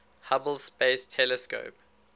hubble space telescope